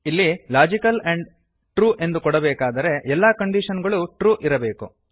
ಇಲ್ಲಿ logical and true ಎಂದು ಕೊಡಬೇಕಾದರೆ ಎಲ್ಲ ಕಂಡೀಶನ್ ಗಳೂ ಟ್ರು ಇರಬೇಕು